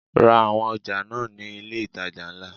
Ra àwọn ọjà náà ní ilé itàjà ńlá.